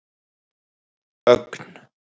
Ögn